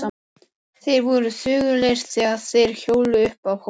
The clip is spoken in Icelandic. Þeir voru þögulir þegar þeir hjóluðu upp að hólnum.